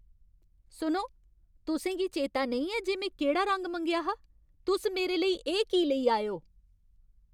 सुनो, तुसें गी चेता नेईं ऐ जे में केह्ड़ा रंग मंगेआ हा? तुस मेरे लेई एह् की लेई आए ओ?